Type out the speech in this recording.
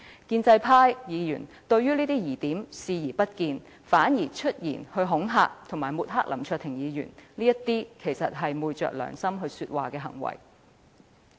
建制派議員對這些疑點視而不見，反而出言恐嚇和抹黑林卓廷議員，這實在是昧着良心說話的行為。